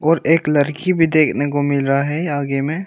और एक लड़की भी देखने को मिल रहा है आगे में।